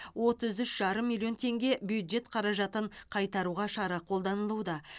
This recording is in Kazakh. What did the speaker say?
отыз үш жарым миллион теңге бюджет қаражатын қайтаруға шара қолданылуда